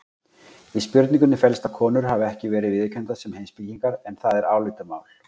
Í spurningunni felst að konur hafi ekki verið viðurkenndar sem heimspekingar en það er álitamál.